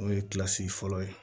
N'o ye kilasi fɔlɔ ye